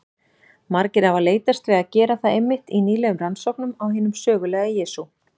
Margir hafa leitast við að gera það einmitt í nýlegum rannsóknum á hinum sögulega Jesú.